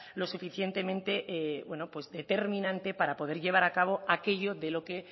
lo suficientemente bueno pues determinante para poder llevar a cabo aquello de lo que